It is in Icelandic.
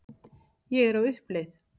Ég er á uppleið.